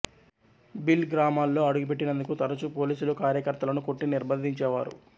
భిల్ గ్రామాల్లో అడుగుపెట్టినందుకు తరచూ పోలీసులు కార్యకర్తలను కొట్టి నిర్భంధించేవారు